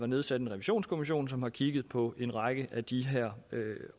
nedsat en revisionskommission som har kigget på en række af de her